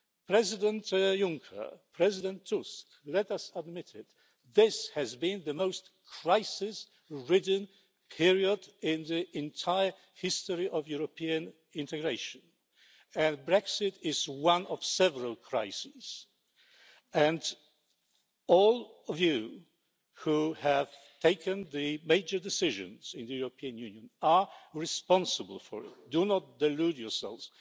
President Juncker, President Tusk, let us admit it this has been the most crisis ridden period in the entire history of European integration. Brexit is one of several crises, and all of you who have taken the major decisions in the European Union are responsible for it do not delude yourselves.